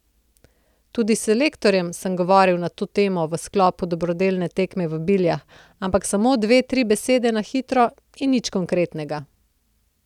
Tudi s selektorjem sem govoril na to temo v sklopu dobrodelne tekme v Biljah, ampak samo dve, tri besede na hitro in nič konkretnega.